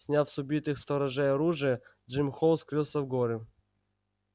сняв с убитых сторожей оружие джим холл скрылся в горы